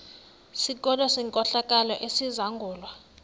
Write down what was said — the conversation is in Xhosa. sikolo senkohlakalo esizangulwa